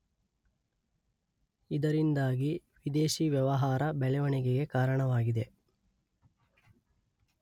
ಇದರಿಂದಾಗಿ ವಿದೇಶಿ ವ್ಯವಹಾರ ಬೆಳವಣಿಗೆಗೆ ಕಾರಣವಾಗಿದೆ